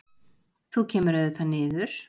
Þú kemur auðvitað niður.